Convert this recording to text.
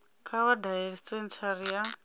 kha vha dalele senthara ya